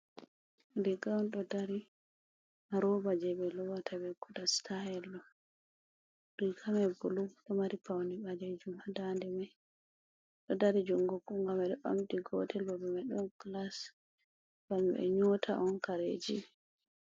Riga on do dari maroba je be lowata be kuda sta’ello dk blu do mari pauni bade jumhadande mai do dari jungo kugame do bamdi gotel bobmad clas gam be nyota on kareji.